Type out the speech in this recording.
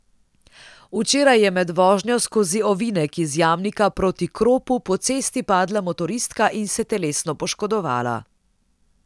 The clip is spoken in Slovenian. Včeraj je med vožnjo skozi ovinek iz Jamnika proti Kropu po cesti padla motoristka in se telesno poškodovala.